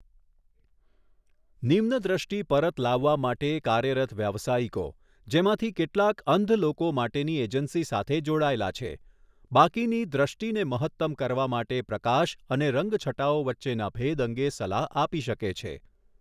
નિમ્ન દૃષ્ટિ પરત લાવવા માટે કાર્યરત વ્યાવસાયિકો, જેમાંથી કેટલાક અંધ લોકો માટેની એજન્સી સાથે જોડાયેલા છે, બાકીની દૃષ્ટિને મહત્તમ કરવા માટે પ્રકાશ અને રંગ છટાઓ વચ્ચેના ભેદ અંગે સલાહ આપી શકે છે.